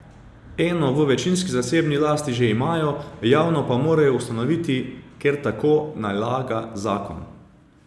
Eno v večinski zasebni lasti že imajo, javno pa morajo ustanoviti, ker tako nalaga zakon.